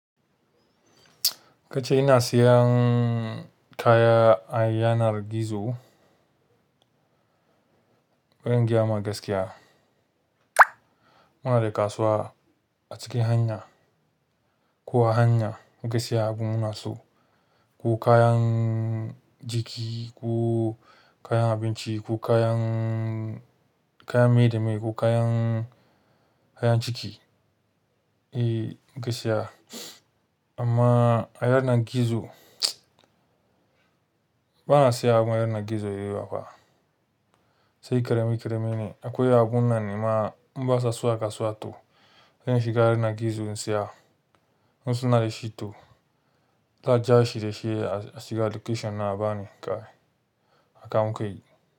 Kace ina siyan kaya a yanar gizo, ban gayama gaskiya. Muna da kasuwa a cikin hanya ko a hanya muke siya abin munaso ko kayan jiki ko kayan abinci ko kayan, kayan maida meye, ko kayan, kayan ciki. Eh muke siya amma a yanar gizo bana siyan abu a yanar gizo mai yawa fa. Sai ƙarami ƙaramin ne akwai abun nan ne ma in ba sa zuwa kasuwa to zan shiga yanar gizo in siya. In suna da shi to, zan ja shi da shi a shiga location na a bani kaya a kan kai.